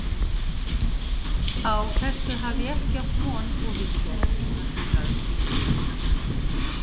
Á þessu hafði ég ekki átt von og vissi ekki hvað til bragðs skyldi taka.